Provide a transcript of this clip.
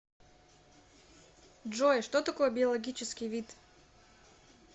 джой что такое биологический вид